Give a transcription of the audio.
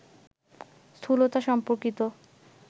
স্থূলতা সম্পর্কিত